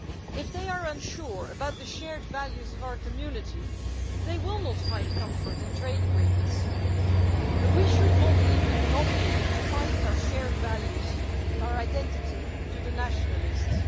If they are unsure about the shared values of our community, they will not find comfort in trade agreements, but we should not leave the monopoly of defining our shared values and our identity to the nationalists.